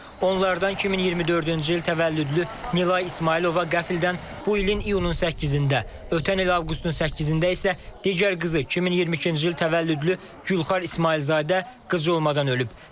Onlardan 2024-cü il təvəllüdlü Nilay İsmayılova qəflətən bu ilin iyunun 8-də, ötən il avqustun 8-də isə digər qızı 2022-ci il təvəllüdlü Gülxar İsmayılzadə qıcolmadan ölüb.